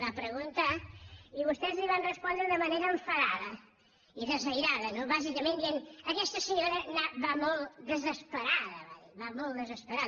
va preguntar i vostès li van respondre de manera enfadada i desairada no bàsicament dient aquesta senyora va molt desesperada va dir va molt desesperada